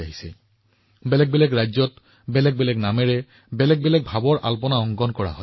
ৰংগোলী বিভিন্ন ৰাজ্যত বিভিন্ন নামেৰে বিভিন্ন বিষয়বস্তুত পালন কৰা হয়